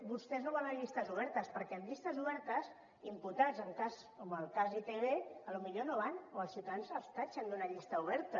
vostès no volen llistes obertes perquè amb llistes obertes imputats en cas com el cas d’itv potser no hi van o els ciutadans els tatxen d’una llista oberta